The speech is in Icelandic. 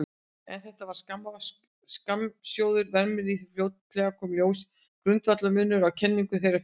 En þetta var skammgóður vermir því fljótlega kom í ljós grundvallarmunur á kenningum þeirra félaga.